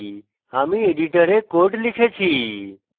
আমি editor code লিখেছি